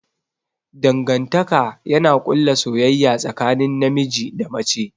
Dangantaka yana ƙulla soyayya tsakanin namiji da mace.